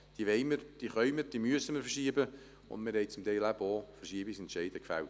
Wir wollen, können und müssen sie verschieben, und wir haben zum Teil bereits Verschiebungsentscheide gefällt.